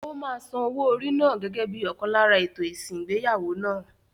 Ó máa san owó orí náà gẹ́gẹ́ bíi ọ̀kan lára ètò ìsìn ìgbéyàwó náà.